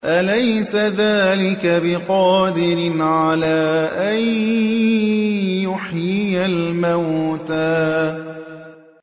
أَلَيْسَ ذَٰلِكَ بِقَادِرٍ عَلَىٰ أَن يُحْيِيَ الْمَوْتَىٰ